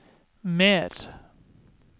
mer